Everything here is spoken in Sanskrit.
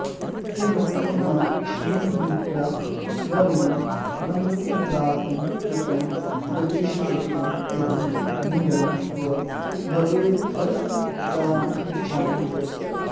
तेनोक्तं न निमन्त्रिता वयमिदं मन्निन्दनार्थं कृतं गच्छेस्त्वं यदि निन्दनं तव भवेद्द्रष्टास्यनिष्टानि च